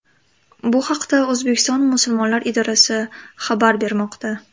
Bu haqda O‘zbekiston musulmonlari idorasi xabar bermoqda .